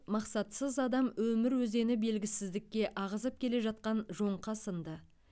мақсатсыз адам өмір өзені белгісіздікке ағызып келе жатқан жоңқа сынды